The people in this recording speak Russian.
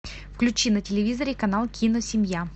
включи на телевизоре канал киносемья